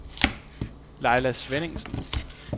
Laila Svenningsen